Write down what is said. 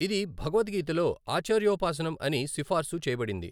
అది భగవద్గీతలో ఆచార్యోపాసనం అని సిఫార్సు చేయబడింది.